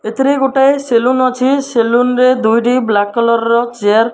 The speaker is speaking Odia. ଏଥିରେ ଗୋଟାଏ ସେଲୁନ ଅଛି ସେଲୁନ୍ ରେ ଦୁଇଟି ବ୍ଲାକ୍ କଲର୍ ର ଚେୟାର --